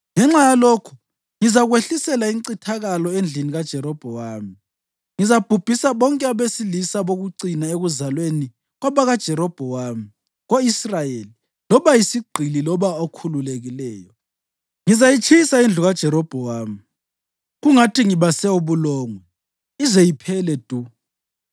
Ngenxa yalokho ngizakwehlisela incithakalo endlini kaJerobhowamu. Ngizabhubhisa bonke abesilisa bokucina ekuzalweni kwabakaJerobhowamu ko-Israyeli loba yisigqili loba okhululekileyo. Ngizayitshisa indlu kaJerobhowamu kungathi ngibase ubulongwe, ize iphele du.